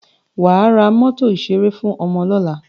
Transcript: Wà á ra mọ́tò ìṣẹré fún ọmọ lọ́la!